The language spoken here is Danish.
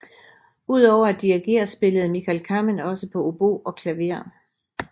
Ud over at dirigere spillede Michael Kamen også på obo og klaver